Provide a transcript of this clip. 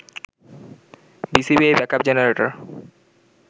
BCB এই backup generator